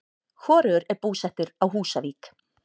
Hvorugur er búsettur á Húsavík.